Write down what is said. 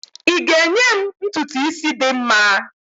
ị ga-enye m ntutu isi dị mma?